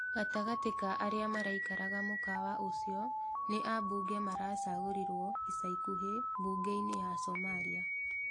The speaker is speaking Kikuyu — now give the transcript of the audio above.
Gatagatĩ ka arĩa maraikaraga mũkawa ũcio nĩ ambunge maracagũrirwo ica ikuhĩ mbunge-inĩ ya Somalia.